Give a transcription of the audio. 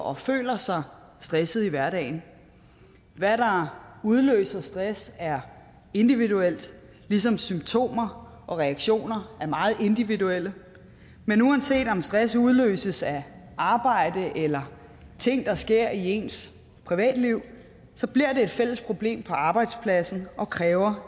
og føler sig stressede i hverdagen hvad der udløser stress er individuelt ligesom symptomer og reaktioner er meget individuelle men uanset om stress udløses af arbejde eller ting der sker i ens privatliv så bliver det et fælles problem på arbejdspladsen og kræver